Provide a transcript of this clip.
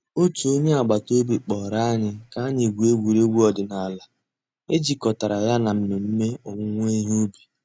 Ọ̀tù ònyè àgbàtà òbì kpọ̀rọ̀ ànyị̀ kà ànyị̀ gụ̀ọ̀ ègwè́ré́gwụ̀ òdìnàlà è jìkọ̀tàrà yà nà mmẹ̀mmẹ̀ òwùwé ìhè ǔbì.